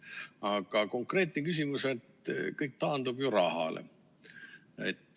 Aga konkreetne küsimus on selles, et kõik taandub ju rahale.